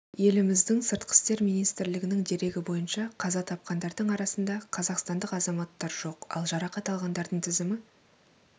еліміздің сыртқы істер министрлігінің дерегі бойынша қаза тапқандардың арасында қазақстандық азаматтар жоқ ал жарақат алғандардың тізімі